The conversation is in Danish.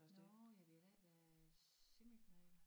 Nårh ja det i dag der semifinale